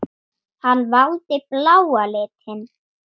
Hann valdi bláa litinn.